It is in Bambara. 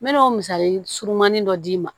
N mɛna o misali surumanin dɔ d'i ma